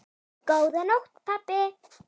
Góða nótt pabbi.